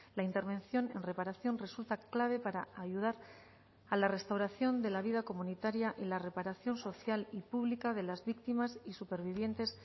la intervención en reparación resulta clave para ayudar a la restauración de la vida comunitaria y la reparación social y pública de las víctimas y supervivientes